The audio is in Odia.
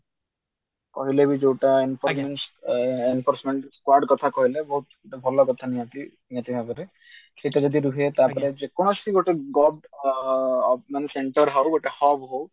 କହିଲେ ବି ଯୋଉଟା କଥା କହିଲେ ବହୁତ ଭଲ କଥା ନିହାତି ନିହାତି ଭାବରେ ସେଇଟା ଯଦି ରୁହେ ଗୋଟେ target କୌଣସି ଗୋଟେ ଅ ମାନେ center ହଉ hub ହଉ